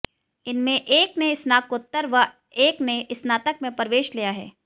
इनमें एक ने स्नातकोत्तर व एक ने स्नातक में प्रवेश लिया है